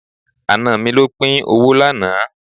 Àna mi ló pín owó lánàá.